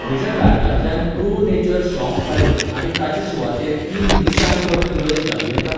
म्हज्या कार्टांतल्यान pro nature सौंफ काडून आनी ताचे सुवातेर तीन निसान कप नूडल्स घालूं येता?